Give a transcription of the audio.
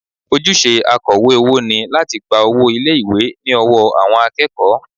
Ojúṣe akọ̀wé owó ni láti gba owó ilé ìwé ní ọwọ́ àwọn akẹ́kọ̀ọ́